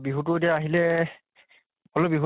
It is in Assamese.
বিহুতো এতিয়া আহিলে হলেও বিহুত